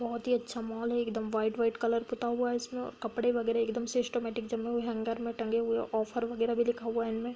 बहुत ही अच्छा मॉल है एकदम व्हाइट - व्हाइट पुता हुआ है इसमें और कपड़े वगेरह एकदम सिस्टेमैटिक जमे हुए हैं हैंगर में टंगे हुए हैं ऑफर वगेरह भी लिखा हुआ है।